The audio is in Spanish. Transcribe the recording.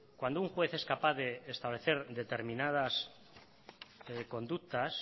cuando un juez es capaz de establecer determinadas conductas